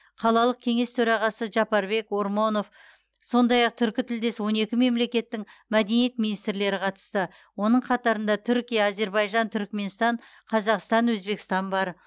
қалалық кеңес төрағасы жапарбек ормонов сондай ақ түркітілдес он екі мемлекеттің мәдениет министрлері қатысты оның қатарында түркия әзербайжан түркіменстан қазақстан өзбекстан бар